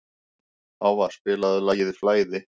Hávarr, spilaðu lagið „Flæði“.